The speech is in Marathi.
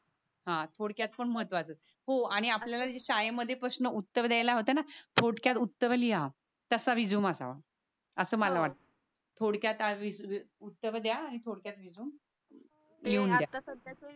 हा थोडक्यात पण महत्वच ही आणि आपल्याला शाळेत पण प्रश्न उत्तर द्यायला होते ना. थोडक्यात उत्तर लिहा तसा रेझुमे लिहा. अस मला वाटत थोडक्यात आदि उत्तर